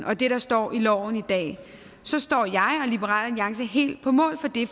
og det der står i loven i dag så står jeg og liberal alliance helt på mål for det